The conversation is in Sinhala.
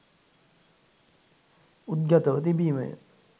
උද්ගතව තිබිමය